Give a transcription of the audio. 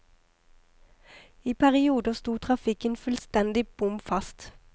I perioder sto trafikken fullstendig bom fast.